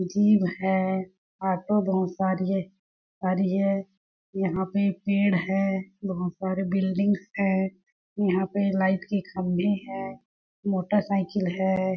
जीब है ऑटो बहुत सारी है आ रही है यहाँ पे पेड़ है बहुत सारे बिल्डिंग्स है यहाँ पे लाइट के खम्बे है मोटर साइकिल है।